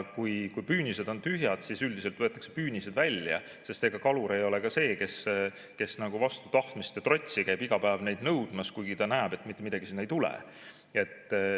Kui püünised on tühjad, siis üldiselt võetakse püünised välja, sest ega kalur ei ole ka see, kes nagu vastu tahtmist ja trotsi käib iga päev neid nõudmas, kuigi ta näeb, et mitte midagi sinna ei tule.